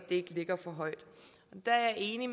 ikke ligger for højt og der er jeg enig